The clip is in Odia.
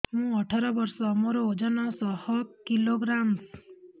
ମୁଁ ଅଠର ବର୍ଷ ମୋର ଓଜନ ଶହ କିଲୋଗ୍ରାମସ